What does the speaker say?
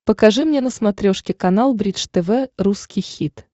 покажи мне на смотрешке канал бридж тв русский хит